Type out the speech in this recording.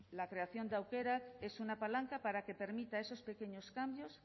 la creación de aukerak es una palanca para que permita esos pequeños cambios